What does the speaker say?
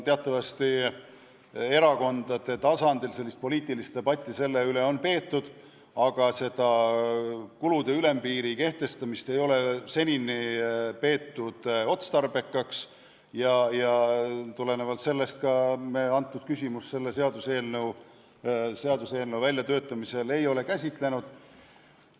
Teatavasti erakondade tasandil on selle üle poliitilist debatti peetud, aga seni ei ole kulude ülempiiri kehtestamist peetud otstarbekaks ja sellest tulenevalt ei ole me seda küsimust seaduseelnõu väljatöötamisel ka käsitlenud.